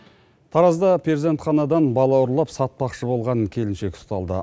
таразда перзентханадан бала ұрлап сатпақшы болған келіншек ұсталды